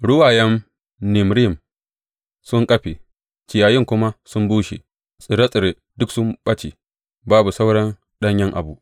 Ruwayen Nimrim sun ƙafe ciyayin kuma sun bushe; tsire tsire duk sun ɓace babu sauran ɗanyen abu.